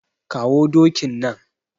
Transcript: Kawo dokin nan.